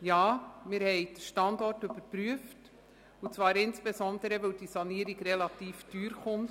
Ja, wir haben den Standort überprüft und zwar insbesondere deshalb, weil die Sanierung relativ teuer wird.